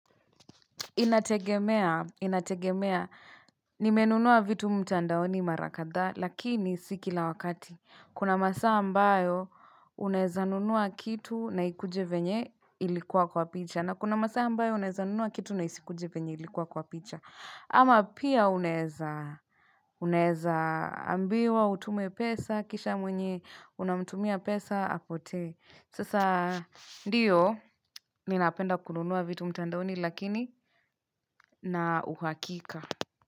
Inategemea, inategemea, nimenunua vitu mtandaoni mara kadhaa, lakini si kila wakati, kuna masaa ambayo unaeza nunua kitu na ikuje venye ilikuwa kwa picha, na kuna masaa ambayo unaeza nunua kitu na isikuje venye ilikuwa kwa picha, ama pia unaeza ambiwa, utume pesa, kisha mwenye, unamtumia pesa, apotee. Sasa ndiyo, ninapenda kununua vitu mtandaoni lakini na uhakika.